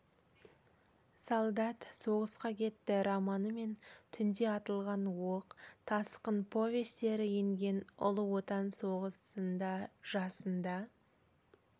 солдат соғысқа кетті романы мен түнде атылған оқ тасқын повестері енген ұлы отан соғысында жасында